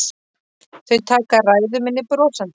Þau taka ræðu minni brosandi.